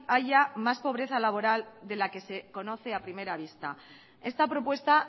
haya más pobreza laboral de la que se conoce a primera vista esta propuesta